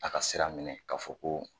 A ka sira minɛ k'a fɔ ko